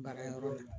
Baara yɔrɔ de la